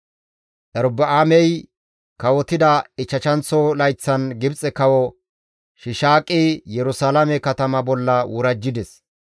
Erobi7aamey kawotida ichchashanththo layththan Gibxe Kawo Shiishaaqi Yerusalaame katama bolla worajjides.